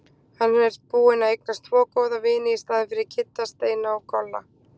Hann er búinn að eignast tvo góða vini í staðinn fyrir Kidda- Steina og Tolla.